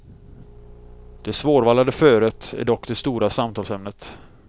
Det svårvallade föret är dock det stora samtalsämnet.